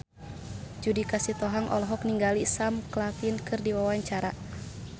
Judika Sitohang olohok ningali Sam Claflin keur diwawancara